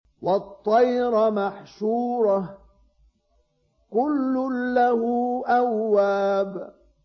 وَالطَّيْرَ مَحْشُورَةً ۖ كُلٌّ لَّهُ أَوَّابٌ